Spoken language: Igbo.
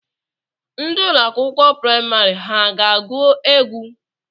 Ndị ụlọ akwụkwọ prịmarị ha ga-agwụ egwu?